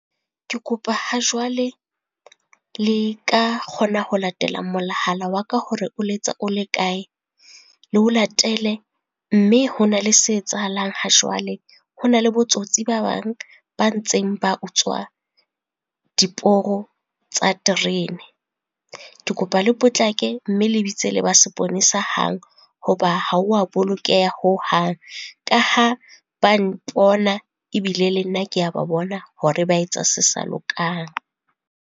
Ke kopa ha jwale, le ka kgona ho latela molahala wa ka hore o letsa o le kae? Le ho latele mme ho na le se etsahalang ha jwale. Ho na le bo tsotsi ba bang ba ntseng ba utswa diporo tsa terene. Ke kopa le potlake mme le bitse le ba seponesa hang, hoba ha wa bolokeha hohang. Ka ha ba mpona ebile le nna ke a ba bona hore ba etsa se sa lokang.